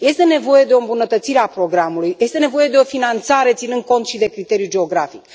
Este nevoie de o îmbunătățire a programului, este nevoie de o finanțare ținând cont și de criteriul geografic.